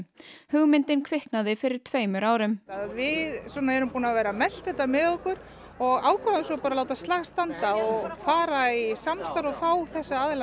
hugmyndin kviknaði fyrir tveimur árum við svona erum búin að vera að melta þetta með okkur og ákváðum svo bara að láta slag standa og fara í samstarf og fá þessa aðila